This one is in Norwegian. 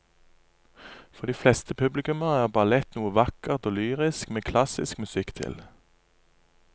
For de fleste publikummere er ballett noe vakkert og lyrisk med klassisk musikk til.